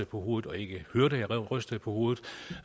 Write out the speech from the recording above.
på hovedet og ikke hørte at jeg rystede på hovedet